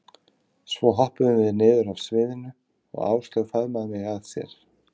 Svo hoppuðum við niður af sviðinu og Áslaug faðmaði mig að sér.